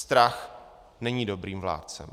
Strach není dobrým vládcem.